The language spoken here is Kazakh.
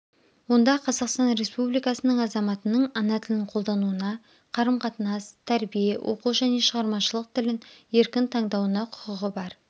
онда қазақстан республикасының азаматының ана тілін қолдануына қарым-қатынас тәрбие оқу және шығармашылық тілін еркн таңдауына құқығы бар